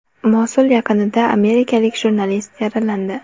Mosul yaqinida amerikalik jurnalist yaralandi.